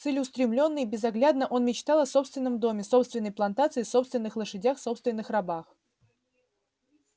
целеустремлённо и безоглядно он мечтал о собственном доме собственной плантации собственных лошадях собственных рабах